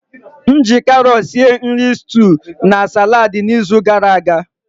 M ji karọt sie nri stuú na saladi n'izu gara aga.